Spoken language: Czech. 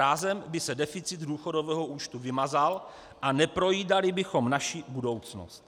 Rázem by se deficit důchodového účtu vymazal a neprojídali bychom naši budoucnost.